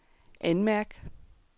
anmærk